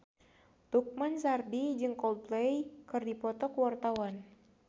Lukman Sardi jeung Coldplay keur dipoto ku wartawan